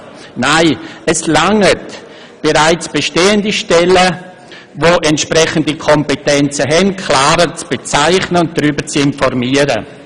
Nein, es reicht, bereits bestehende Stellen, die entsprechende Kompetenzen haben, klarer zu bezeichnen und darüber zu informieren.